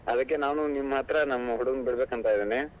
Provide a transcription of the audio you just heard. ಅದಕ್ಕೆ ನಾನು ನಿಮ್ ಹತ್ರ ನಮ್ ಹುಡುಗನ್ ಬಿಡ್ಬೇಕು ಅಂತ ಇದೀನಿ.